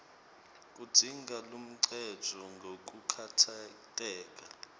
kudzinga luncendvo ngekukhatsateka